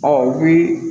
Ɔ u bi